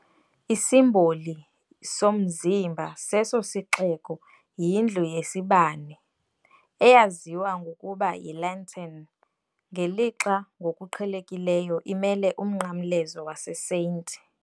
Isimboli "somzimba" seso sixeko yindlu yesibane, eyaziwa ngokuba yiLantern, ngelixa ngokuqhelekileyo imele uMnqamlezo waseSt.